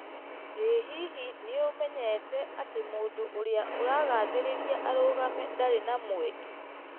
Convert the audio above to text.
Ĩ hihi nĩ ũmenyete atĩ mũndũ ũrĩa ũragathĩrĩria arũgame ndarĩ na mweke ?